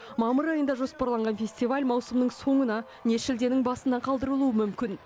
мамыр айында жоспарланған фестиваль маусымның соңына не шілденің басына қалдырылуы мүмкін